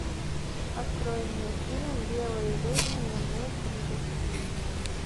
открой мне фильм белые люди не умеют прыгать